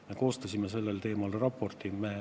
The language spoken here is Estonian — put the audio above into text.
Me koostasime sellel teemal raporti.